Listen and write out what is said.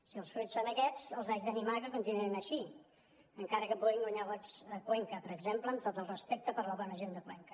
si els fruits són aquests els haig d’animar que continuïn així encara que puguin guanyar vots a cuenca per exemple amb tot el respecte per la bona gent de cuenca